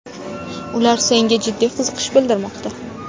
Ular senga jiddiy qiziqish bildirmoqda.